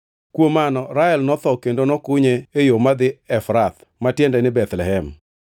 Kuom mano Rael notho kendo nokunye e yo madhi Efrath (ma tiende ni Bethlehem).